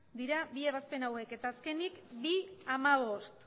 dira bi ebazpen hauek eta azkenik bi puntu hamabost